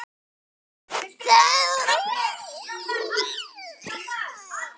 Valhöll getur átt við